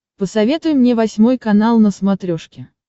посоветуй мне восьмой канал на смотрешке